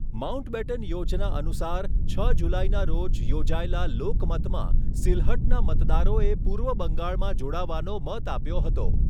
Mountbatten યોજના અનુસાર, છ જુલાઈના રોજ યોજાયેલા લોકમતમાં સિલ્હટના મતદારોએ પૂર્વ બંગાળમાં જોડાવાનો મત આપ્યો હતો.